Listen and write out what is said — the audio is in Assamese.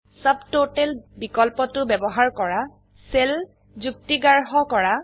সাবটোটেল বিকল্পটো ব্যবহাৰ কৰা সেল যুক্তিগ্ৰাহ্যকৰা